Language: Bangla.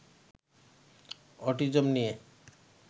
অটিজম নিয়ে